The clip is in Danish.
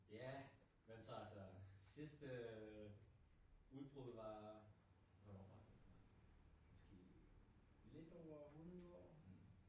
Ja, men så altså sidste udbrud var hvornår var det det var måske lidt over 100 år